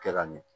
Kɛ ka ɲɛ